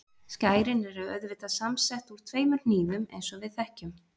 Skærin eru auðvitað samsett úr tveimur hnífum eins og við þekkjum.